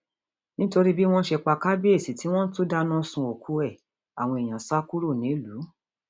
nítorí bí wọn ṣe pa kábíyèsí tí wọn tún dáná sun òkú ẹ àwọn èèyàn sá kúrò nílùú